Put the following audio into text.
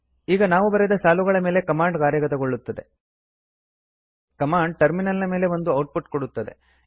ಈಗ ನಾವು ಬರೆದ ಸಾಲುಗಳ ಮೇಲೆ ಕಮಾಂಡ್ ಕಾರ್ಯಗತಗೊಳ್ಳುತ್ತದೆ ಕಮಾಂಡ್ ಟರ್ಮಿನಲ್ ನ ಮೇಲೆ ಒಂದು ಔಟ್ ಪುಟ್ ಕೊಡುತ್ತದೆ